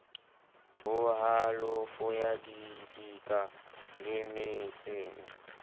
ho halofo ya didika lemetseng